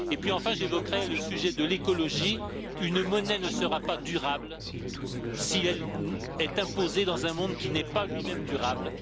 Enfin, j'évoquerai le sujet de l'écologie une monnaie ne sera pas durable si elle est imposée dans un monde qui n'est pas lui même durable.